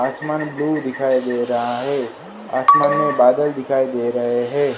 आसमान ब्लू दिखाई दे रहा है आसमान में बादल दिखाई दे रहे हैं।